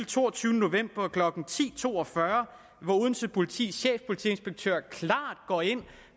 toogtyvende november klokken ti to og fyrre hvor odense politis chefpolitiinspektør klart går ind